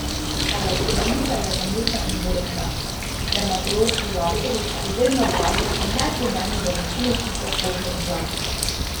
Elektroliza je zamudna in boleča, dermatološki laserji pa izredno dragi in neprimerni za večino tipov kože in dlačic.